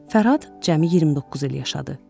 Fərhad cəmi 29 il yaşadı.